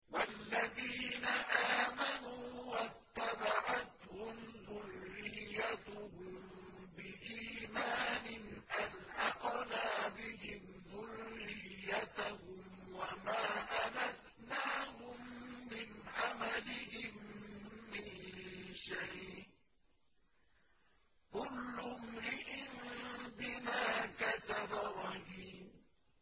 وَالَّذِينَ آمَنُوا وَاتَّبَعَتْهُمْ ذُرِّيَّتُهُم بِإِيمَانٍ أَلْحَقْنَا بِهِمْ ذُرِّيَّتَهُمْ وَمَا أَلَتْنَاهُم مِّنْ عَمَلِهِم مِّن شَيْءٍ ۚ كُلُّ امْرِئٍ بِمَا كَسَبَ رَهِينٌ